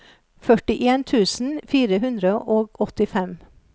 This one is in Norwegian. førtien tusen fire hundre og åttifem